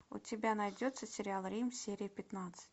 у тебя найдется сериал рим серия пятнадцать